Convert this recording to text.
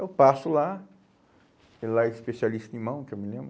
Eu passo lá, ele lá é especialista em mão, que eu me lembro.